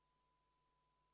Istungi lõpp kell 10.04.